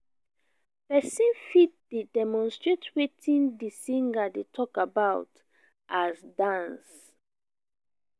persin fit de demonstrate wetin di singer de talk about as dance